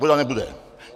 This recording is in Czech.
Voda nebude.